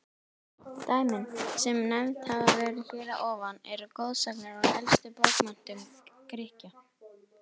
Dæmin, sem nefnd hafa verið hér að ofan, eru goðsagnir úr elstu bókmenntum Grikkja.